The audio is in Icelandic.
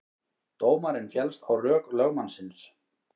Dómarinn féllst á rök lögmannsins